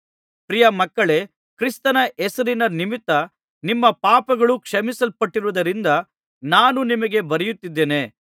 ಪ್ರಿಯ ಮಕ್ಕಳೇ ಕ್ರಿಸ್ತನ ಹೆಸರಿನ ನಿಮಿತ್ತ ನಿಮ್ಮ ಪಾಪಗಳು ಕ್ಷಮಿಸಲ್ಪಟ್ಟಿರುವುದರಿಂದ ನಾನು ನಿಮಗೆ ಬರೆಯುತ್ತಿದ್ದೇನೆ